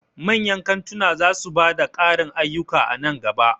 Manyan kantunan za su ba da ƙarin ayyuka a nan gaba.